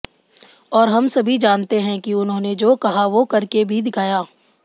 और हम सभी जानते हैं कि उन्होंने जो कहा वो करके भी दिखाया